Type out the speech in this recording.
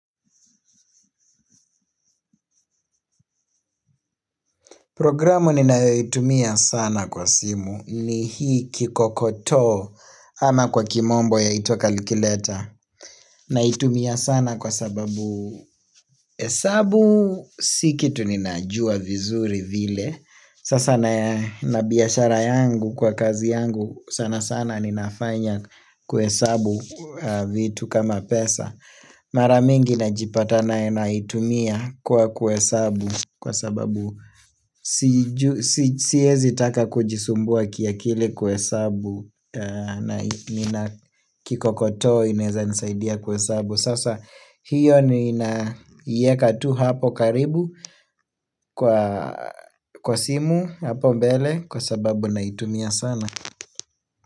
Programu ninayoitumia sana kwa simu ni hii kikokoto ama kwa kimombo ya itwa calculator. Naitumia sana kwa sababu hesabu sikitu ninajua vizuri vile. Sasa na na biashara yangu kwa kazi yangu sana sana ninafanya kuhesabu vitu kama pesa. Mara mingi najipata na naitumia kwa kuhesabu, kwa sababu siijui. Sihezi taka kujisumbua kiakili kuhesabu na kikokoto inaeza nisaidia kuhesabu. Sasa hiyo nina yeka tu hapo karibu kwa kwa simu hapo mbele kwa sababu naitumia sana.